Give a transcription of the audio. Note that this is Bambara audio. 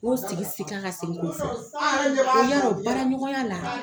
K'o sigi sigi k'a ka segin ko fɔ, y'arɔ baara ɲɔgɔnya la